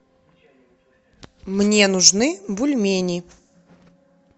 мне нужны бульмени